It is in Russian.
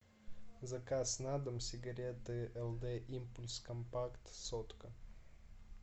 заказ на дом сигареты лд импульс компакт сотка